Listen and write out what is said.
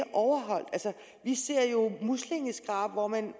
overholdt vi ser jo muslingeskrab hvor man